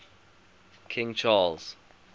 king charles